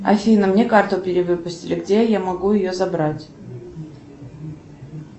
афина мне карту перевыпустили где я могу ее забрать